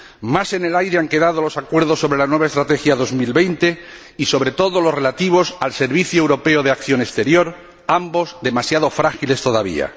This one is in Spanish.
Más en el aire han quedado los acuerdos sobre la nueva Estrategia Europa 2020 y, sobre todo, los relativos al Servicio Europeo de Acción Exterior, ambos demasiado frágiles todavía.